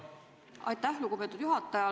Aitäh, lugupeetud juhataja!